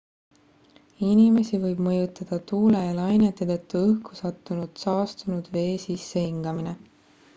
inimesi võib mõjutada tuule ja lainete tõttu õhku sattunud saastunud vee sissehingamine